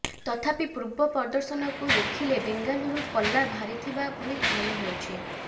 ତଥାପି ପୂର୍ବ ପ୍ରଦର୍ଶନକୁ ଦେଖିଲେ ବେଙ୍ଗାଲୁରୁ ପଲ୍ଲା ଭାରିଥିବା ଭଳି ମନେହେଉଛି